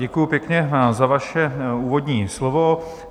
Děkuji pěkně za vaše úvodní slovo.